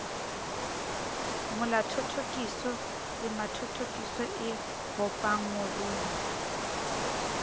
molathothokiso temanathothokiso e bopang morumo